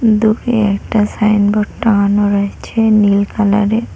দূরে একটা সাইনবোর্ড টাঙানো রয়েছে নীল কালারের।